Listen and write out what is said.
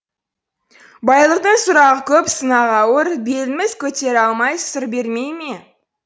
байлықтың сұрағы көп сынағы ауыр беліміз көтере алмай сыр бермей ме